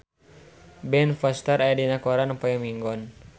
Ben Foster aya dina koran poe Minggon